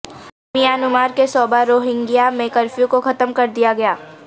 Myanmar کے صوبہ Rohingya میں کرفیو کو ختم کر دیا گیا